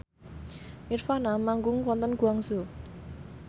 nirvana manggung wonten Guangzhou